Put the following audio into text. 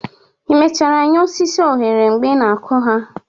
i mechara nye osisi onyere mgbe ị na-akụ ha?